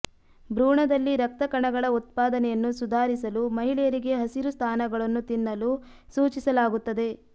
ಭ್ರೂಣದಲ್ಲಿ ರಕ್ತ ಕಣಗಳ ಉತ್ಪಾದನೆಯನ್ನು ಸುಧಾರಿಸಲು ಮಹಿಳೆಯರಿಗೆ ಹಸಿರು ಸ್ಥಾನಗಳನ್ನು ತಿನ್ನಲು ಸೂಚಿಸಲಾಗುತ್ತದೆ